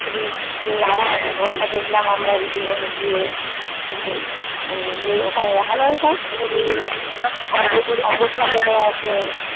ছিলিস আমি ঘরটা দেখলাম আমরা মৃধুবন এ গিয়ে ওখানে রাখালোয় সার সব অগোছালো আছে